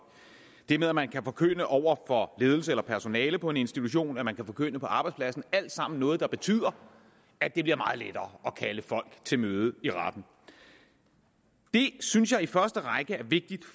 det med at man kan forkynde over for ledelse eller personale på en institution og at man kan forkynde på arbejdspladsen det alt sammen noget der betyder at det bliver meget lettere at kalde folk til møde i retten det synes jeg i første række er vigtigt